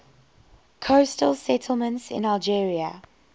coastal settlements in algeria